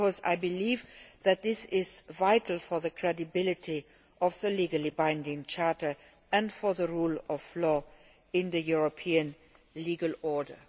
I believe this is vital for the credibility of the legally binding charter and for the rule of law in the European legal order.